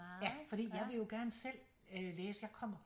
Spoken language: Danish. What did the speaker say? Ja fordi jeg vil jo gerne selv øh læse jeg kommer